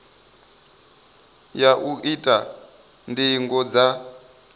ya u ita ndingo dza